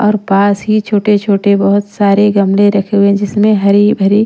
और पास ही छोटे-छोटे बहुत सारे गमले रखे हुए हैं जिसमें हरी भरी--